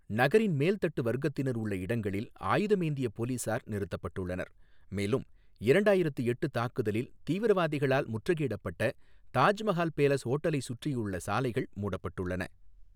நகரின் மேல் தட்டு வர்க்கத்தினர் உள்ள இடங்களில் ஆயுதமேந்திய போலீசார் நிறுத்தப்பட்டுள்ளனர், மேலும் இரண்டாயிரத்து எட்டு தாக்குதலில் தீவிரவாதிகளால் முற்றுகையிடப்பட்ட தாஜ்மஹால் பேலஸ் ஹோட்டலை சுற்றியுள்ள சாலைகள் மூடப்பட்டுள்ளன.